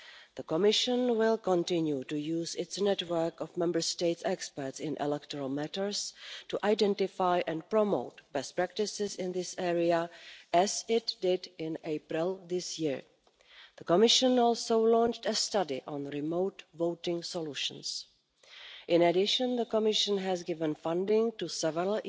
The Commission will continue to use its network of Member State experts in electoral matters to identify and promote best practices in this area, as it did in April this year. The Commission has also launched a study on remote voting solutions. In addition, the Commission has given funding to several